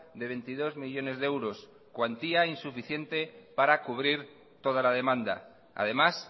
de veintidós millónes de euros cuantía insuficiente para cubrir toda la demanda además